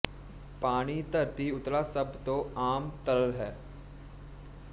ਪਾਣੀ ਧਰਤੀ ਉਤਲਾ ਸਭ ਤੋਂ ਆਮ ਤਰਲ ਹੈ